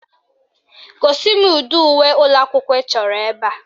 Gosi m ụdị uwe ụlọakwụkwọ ị chọrọ ebe a